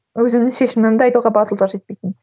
өзімнің шешімімді айтуға батылдық жетпейтін